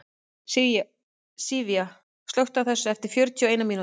Sivía, slökktu á þessu eftir fjörutíu og eina mínútur.